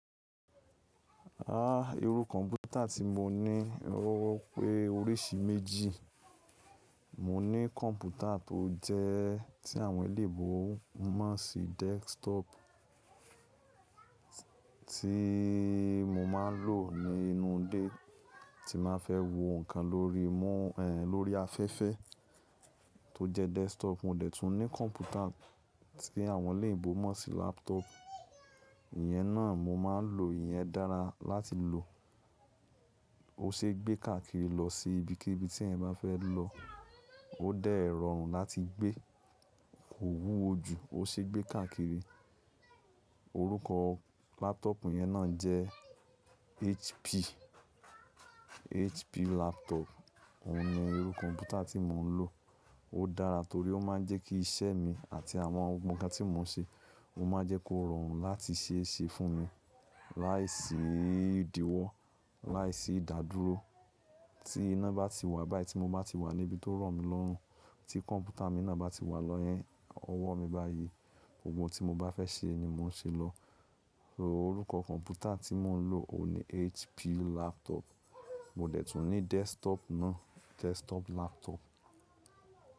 Àá, irú kọ̀ǹpútà tí mo ní, o pé oríṣi méjì. Mo ní kọ̀ǹpútà tó jẹ́ tí àwọn eléèbó mọ̀ sí desktop tíì mo máa ń lò nínú ilé tí n bá fẹ́ wo nǹkan lórí, mm, ẹ̀n, lórí afẹ́fẹ́ tó jẹ́ desktop. Mo dẹ̀ tún ní kọ̀ǹpútà tí àwọn olóyìnbó mọ̀ sí laptop. Iyẹn náà mo máa ń lò, iyẹn dára láti lò. Ó ṣeé gbé káàkiri lọ sí ibikíbi tí èèyàn bá fẹ́ lọ. Ó dẹ̀ rọrùn láti gbé, kò wúwo jù, ó ṣeé gbé káàkiri. Orúkọ laptop yẹn náà jẹ́ HP, HP laptop. Óun ní irú kọ̀ǹpútà tí mò ń lò. Ó dára torí ó máa ń jẹ́ kí iṣẹ́ mi àti àwọn ohun kan tí mò ń ṣe, ó máa ń jẹ́ kó rọrùn láti ṣe é ṣe fún mi láìsí ìdíwọ́, láìsí ìdádúró. Tí iná bá ti wà, báyìí tí mo bá ti wà níbi tó rọ̀ mí lọ́rùn, tí kọ̀ǹpútà mi náà bá ti wà ní ọwọ́ mi báyìí, gbogbo ohun tí mo bá fẹ́ ṣe ni mò ń ṣe lọ. Orúkọ kọ̀ǹpútà tí mò ń lò, òun ni HP laptop. Mo dẹ̀ tún ní desktop náà, desktop laptop.